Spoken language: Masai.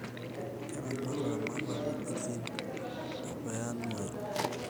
Keramat ilaramatak wejitin oo bayoanuwai